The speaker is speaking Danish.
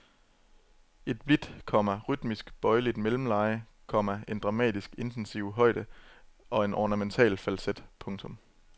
Et blidt, komma rytmisk bøjeligt mellemleje, komma en dramatisk intensiv højde og en ornamental falset. punktum